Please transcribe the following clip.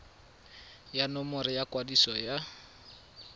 ya nomoro ya kwadiso ya